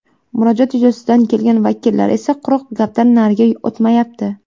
Murojaat yuzasidan kelgan vakillar esa quruq gapdan nariga o‘tmayapti.